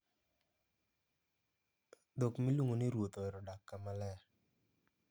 Dhok miluongo ni ruoth ohero dak kama ler.